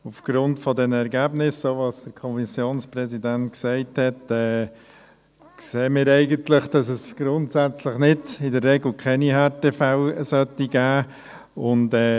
Aufgrund der Ergebnisse, die der Kommissionspräsident mitteilte, sehen wir, dass es in der Regel keine Härtefälle geben sollte.